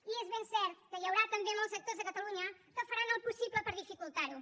i és ben cert que hi haurà també molts actors a catalunya que faran el possible per dificultar ho